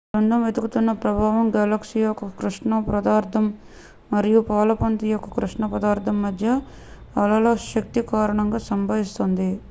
బృందం వెతుకుతున్న ప్రభావం గెలాక్సీ యొక్క కృష్ణ పదార్థం మరియు పాలపుంత యొక్క కృష్ణ పదార్థం మధ్య అలల శక్తుల కారణంగా సంభవిస్తుంది